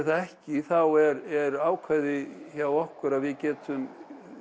það ekki er ákvæði hjá okkur að við getum